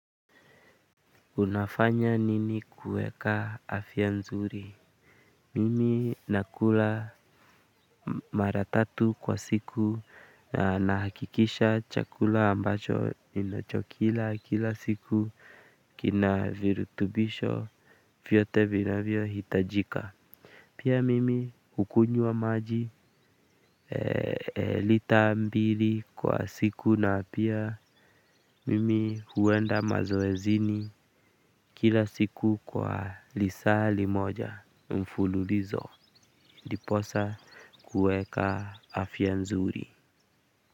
Unafanya nini kueka afya nzuri? Mimi nakula mara tatu kwa siku na nahakikisha chakula ambacho ninachokila kila siku kina virutubisho vyote vinavyo hitajika. Pia mimi hukunywa maji lita mbili kwa siku na pia mimi huenda mazoezini kila siku kwa lisaa limoja mfululizo diposa kueka afya nzuri.